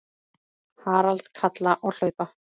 Harald kalla og hlaupa.